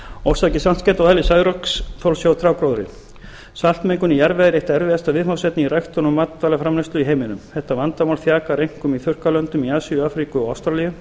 orsakir saltskemmda og eðli særoksþols hjá trjágróðri saltmengun í jarðvegi er eitt erfiðasta viðfangsefni í ræktun og matvælaframleiðslu í heiminum þetta vandamál þjakar einkum í þurrkalöndum í asíu afríku og ástralíu